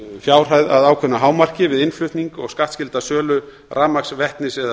fjárhæð að ákveðnu hámarki við innflutning og skattskylda sölu rafmagns vetnis eða